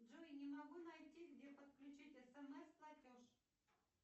джой не могу найти где подключить смс платеж